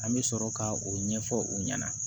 An bɛ sɔrɔ ka o ɲɛfɔ u ɲɛna